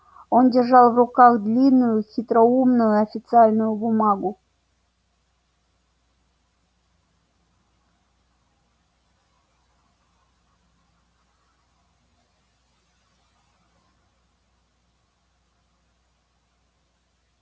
он держал в руках длинную хитроумную официальную бумагу